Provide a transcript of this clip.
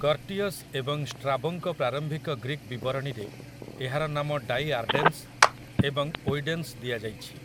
Curtius ଏବଂ ଷ୍ଟ୍ରାବୋଙ୍କ ପ୍ରାରମ୍ଭିକ ଗ୍ରୀକ୍ ବିବରଣୀରେ ଏହାର ନାମ ଡାଇଆର୍ଡେନ୍‌ସ ଏବଂ ଓଇଡେନ୍‌ସ ଦିଆଯାଇଛି ।